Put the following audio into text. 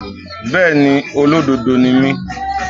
Bẹ́ẹ̀ni, Olódodo ni mí.